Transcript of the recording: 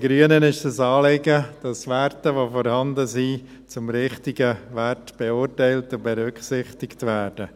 Grünen ist es ein Anliegen, dass die vorhandenen Werte zu den richtigen Werten beurteilt und berücksichtigt werden.